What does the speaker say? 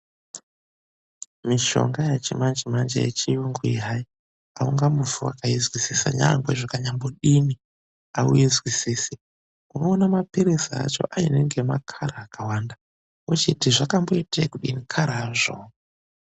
Mishonga yechimanjemanje yechiyungu iyi, hai, haungambofi wakaizwisisa nyangwe zvikanyambodini, hauizwisisi. Unoona mapiritsi acho aine ngemakara akawanda. Wochiti zvakamboitei kudini, karazvowo.